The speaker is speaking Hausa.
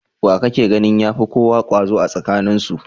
Wa kake ganin ya fi kowa kwazo a tsakaninsu?